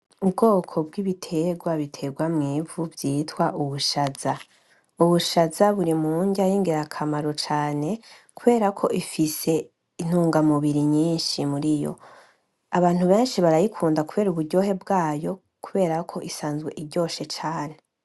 Ubwoko bw'ibitegwa bitegwa mw'ivu vyitwa ubushaza. Ubushaza buri murya y'ingirakamaro cane kuberako ifise intunga mubiri nyinshi muriyo. Abantu benshi barayikunda kubera uburyohe bwayo kuberako isanzwe iryoshe cane.